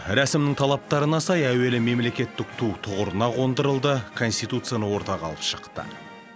рәсімнің талаптарына сай әуелі мемлекеттік ту тұғырына қондырылды конституцияны ортаға алып шықты